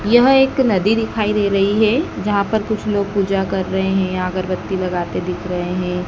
यह एक नदी दिखाई दे रही है जहां पर कुछ लोग पूजा कर रहे हैं या अगरबत्ती लगाते दिख रहे हैं।